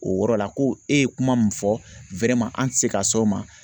O yɔrɔ la ko e ye kuma min fɔ an ti se ka s'o ma